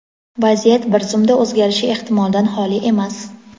vaziyat bir zumda o‘zgarishi ehtimoldan xoli emas.